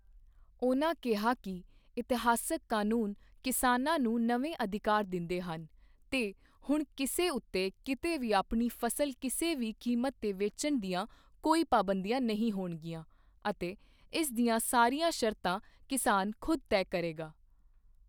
ਉਨ੍ਹਾਂ ਕਿਹਾ ਕਿ ਇਤਿਹਾਸਿਕ ਕਾਨੁੰਨ ਕਿਸਾਨਾਂ ਨੂੰ ਨਵੇਂ ਅਧਿਕਾਰ ਦਿੰਦੇ ਹਨ ਤੇ ਹੁਣ ਕਿਸੇ ਉੱਤੇ ਕਿਤੇ ਵੀ ਆਪਣੀ ਫ਼ਸਲ ਕਿਸੇ ਵੀ ਕੀਮਤ ਤੇ ਵੇਚਣ ਦੀਆਂ ਕੋਈ ਪਾਬੰਦੀਆਂ ਨਹੀਂ ਹੋਣਗੀਆਂ ਅਤੇ ਇਸ ਦੀਆਂ ਸਾਰੀਆਂ ਸ਼ਰਤਾਂ ਕਿਸਾਨ ਖ਼ੁਦ ਤੈਅ ਕਰੇਗਾ।